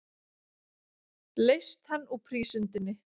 Leyst hann úr prísundinni.